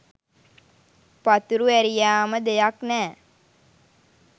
පතුරු ඇරියාම දෙයක් නෑ.